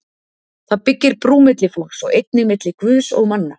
Það byggir brú milli fólks og einnig milli Guðs og manna.